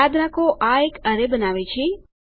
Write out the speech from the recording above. યાદ રાખો આ એક એરે બનાવે છે